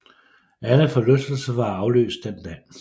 Alle forlystelser var aflyst den dag